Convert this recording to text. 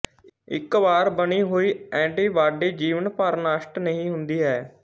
ਇੱਕ ਵਾਰ ਬਣੀ ਹੁਈ ਏੰਟੀਬਾਡੀ ਜੀਵਨ ਭਰ ਨਸ਼ਟ ਨਹੀਂ ਹੁੰਦੀ ਹੈ